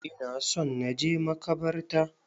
Ina son na je makabarta.